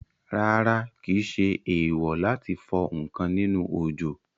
Rárá, kìí ṣe èèwò láti fọ ǹkan nínú òjò